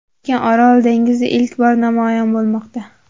Lekin Orol dengizi ilk bor namoyon bo‘lmoqda.